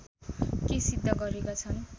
के सिद्ध गरेका छन्